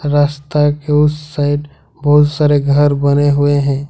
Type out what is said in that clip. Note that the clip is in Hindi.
रास्ता के उस साइड बहुत सारे घर बने हुए हैं।